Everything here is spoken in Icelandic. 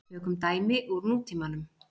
Tökum dæmi úr nútímanum.